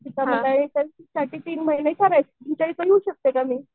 तिथं म्हणलं इन्टर्नशिपसाठी तीन महिने करायचं आहे तुमच्या इथे येऊ शकतो का मग?